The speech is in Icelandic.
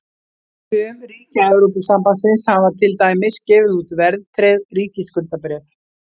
Sum ríkja Evrópusambandsins hafa til dæmis gefið út verðtryggð ríkisskuldabréf.